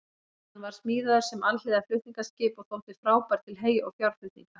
Hann var smíðaður sem alhliða flutningaskip en þótti frábær til hey- og fjárflutninga.